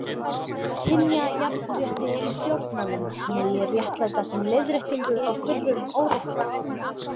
Kynjajafnrétti í stjórnmálum megi réttlæta sem leiðréttingu á fyrrum óréttlæti.